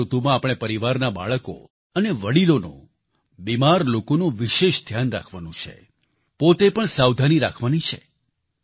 આ ઋતુમાં આપણે પરિવારના બાળકો અને વડિલોનું બિમાર લોકોનું વિશેષ ધ્યાન રાખવાનું છે પોતે પણ સાવધાની રાખવાની છે